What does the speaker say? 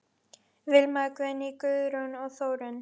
Vilmar, Guðný, Guðrún og Þórunn.